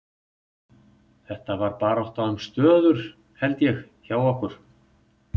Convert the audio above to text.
Þetta var bara barátta um stöður held ég hjá okkur.